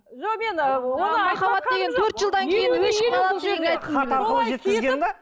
хат арқылы жеткізген де